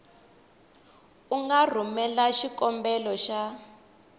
u nga rhumela xikombelo xa